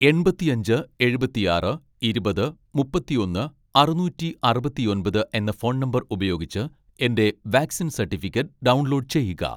എൺപത്തിയഞ്ച് എഴുപത്തിയാറ് ഇരുപത് മുപ്പത്തിയൊന്ന് അറുനൂറ്റി അറുപത്തിയൊമ്പത് എന്ന ഫോൺ നമ്പർ ഉപയോഗിച്ച് എന്റെ വാക്‌സിൻ സട്ടിഫിക്കറ്റ് ഡൗൺലോഡ് ചെയ്യുക